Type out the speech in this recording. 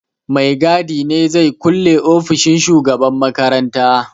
Mai gadi ne zai kulle ofishin shugaban makaranta.